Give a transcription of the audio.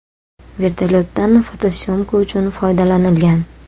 Vertolyotdan fotosyomka uchun foydalanilgan.